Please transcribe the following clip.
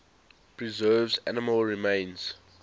preserves animal remains